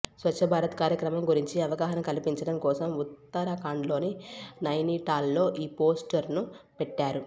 స్వచ్ఛభారత్ కార్యక్రమం గురించి అవగాహన కల్పించడం కోసం ఉత్తరాఖండ్లోని నైనిటాల్లో ఈ పోస్టర్ను పెట్టారు